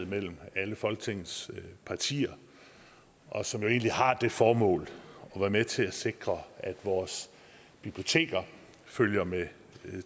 mellem alle folketingets partier og som egentlig har det formål at være med til at sikre at vores biblioteker følger med